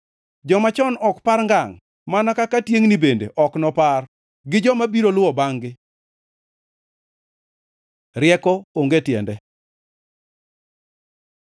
Joma chon ok par ngangʼ mana kaka tiengʼni bende, ok nopar gi joma biro luwo bangʼ-gi. Rieko onge tiende